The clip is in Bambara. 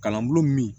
Kalan bulon min